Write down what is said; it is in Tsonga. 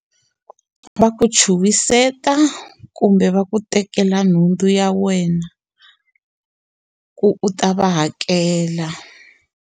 Va ku chuhiseta kumbe va ku tekela nhundzu ya wena ku u ta va hakela.